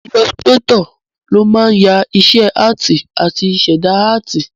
Ilọsirátọ̀ ló máa ń ya iṣẹ́ áàtì àti ṣẹ̀dá áàtì